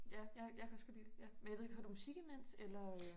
Ja ja jeg kan også godt lide det ja men jeg ved ikke hører du musik imens eller?